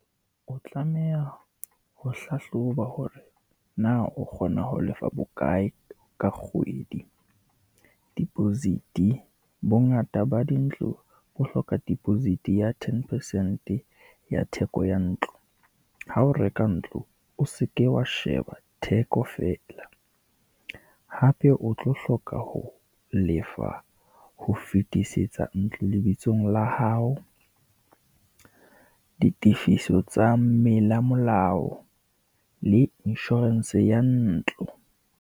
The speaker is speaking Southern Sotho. O tlameha ho hlahloba hore na o kgona ho lefa bokae ka kgwedi deposit-e. Bongata ba dintlo bo hloka deposit ya ten percent ya theko ya ntlo. Ha o reka ntlo, o seke wa sheba theko fela, hape o tlo hloka ho lefa ho fetisetsa ntlo lebitsong la hao, ditifiso tsa molao le insurance ya ntlo.